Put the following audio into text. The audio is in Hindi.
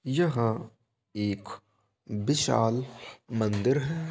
यह एक विशाल मंदिर है।